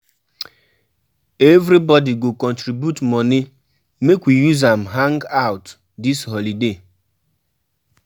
Everybodi go contribute moni make we use am hang-out dis holiday.